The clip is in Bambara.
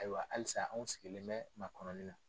Ayiwa halisa anw sigilen bɛ ma kɔnɔnɔni na.